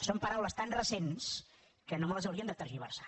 són paraules tan recents que no me les haurien de tergiversar